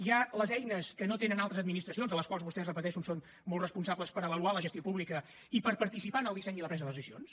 hi ha les eines que no tenen altres administracions de les quals vostès ho repeteixo en són molt responsables per avaluar la gestió pública i per participar en el disseny i la presa de les decisions